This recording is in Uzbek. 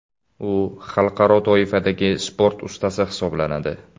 U xalqaro toifadagi sport ustasi hisoblanadi.